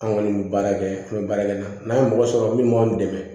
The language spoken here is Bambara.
An kɔni bɛ baara kɛ an bɛ baara kɛ n'a n'a ye mɔgɔ sɔrɔ minnu b'an dɛmɛ